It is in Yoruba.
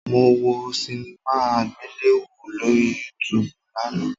Mo wo sinimá àgbéléwò lórí Yúutùùbù lánàá